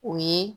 O ye